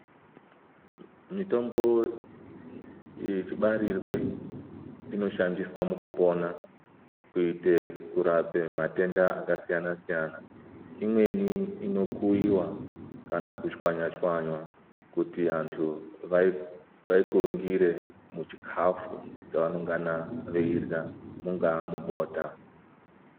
Mitombo yechibarirwe inoshandiswe mukupona kwete mukurape matenda akasiyana siyana imweni inokuyiwa kana kutswanywa tswanywa kuti vantu vaikurungire muchikafu chavanengana veirwa mungaa mubota.